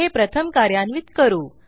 हे प्रथम कार्यान्वित करू